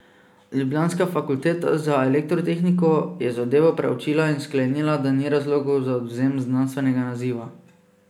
Ljubljanska fakulteta za elektrotehniko je zadevo preučila in sklenila, da ni razlogov za odvzem znanstvenega naziva.